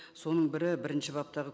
соның бірі бірінші баптағы